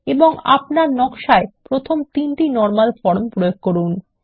এবং আপনার নকশা এ প্রথম তিনটি নরমাল ফর্ম প্রয়োগ করুন